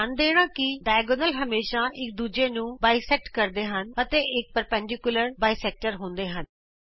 ਧਿਆਨ ਦੇਣਾ ਕਿ ਵਿਕਰਣ ਹਮੇਸ਼ਾ ਇਕ ਦੂਜੇ ਨੂੰ ਦੋਭਾਜਿਤ ਕਰਦੇ ਹਨ ਅਤੇ ਇਹ ਲੰਬਵਤ ਦੋਭਾਜਕ ਹੁੰਦੇ ਹਨ